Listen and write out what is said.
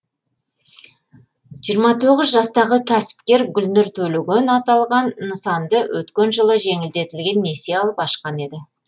жиырма тоғыз жастағы кәсіпкер гүлнұр төлеген аталған нысанды өткен жылы жеңілдетілген несие алып ашқан еді